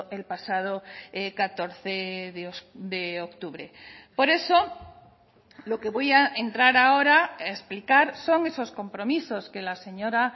el pasado catorce de octubre por eso lo que voy a entrar ahora a explicar son esos compromisos que la señora